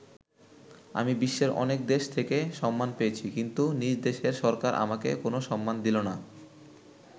আমি বিশ্বের অনেক দেশ থেকে সম্মান পেয়েছি, কিন্তু নিজ দেশের সরকার আমাকে কোনো সম্মান দিল না।